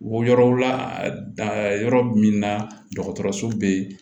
Wo yɔrɔ la danyɔrɔ min na dɔgɔtɔrɔso bɛ yen